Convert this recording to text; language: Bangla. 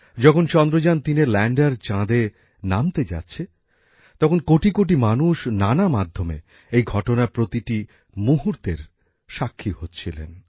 যখন চন্দ্রযান ৩এর ল্যাণ্ডার চাঁদে নামতে যাচ্ছে তখন কোটিকোটি মানুষ নানা মাধ্যমে এই ঘটনার প্রতিটি মুহূর্তের সাক্ষী হচ্ছিলেন